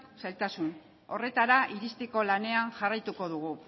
zailtasun horretara iristeko lanean jarraituko dugu